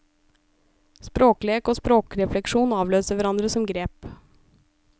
Språklek og språkrefleksjon avløser hverandre som grep.